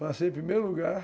Passei em primeiro lugar.